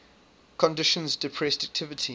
conditions depressed activity